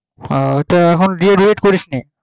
ও ও ওটা এখন D. ED করিসনি